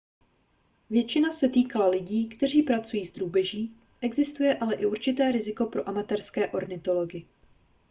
většina se týkala lidí kteří pracují s drůbeží existuje ale i určité riziko pro amatérské ornitology